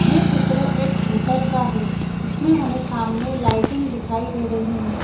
ये चित्र एक होटल का है इसमें हमें सामने लाइटिंग दिखाई दे रही है।